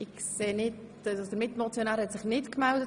Der Mitmotionär hat sich nicht gemeldet.